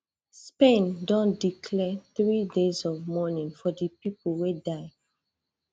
spain don declare three days of mourning for di pipo wey die